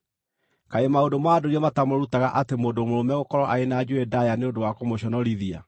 Kaĩ maũndũ ma ndũire matamũrutaga atĩ mũndũ-mũrũme gũkorwo arĩ na njuĩrĩ ndaaya nĩ ũndũ wa kũmũconorithia,